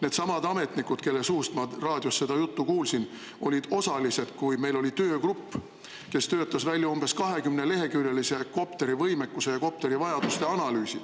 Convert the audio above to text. Needsamad ametnikud, kelle suust ma raadiost seda juttu kuulsin, olid osalised, kui meil oli töögrupp, kes töötas välja umbes 20-leheküljelise kopterivõimekuse ja kopterivajaduste analüüsi.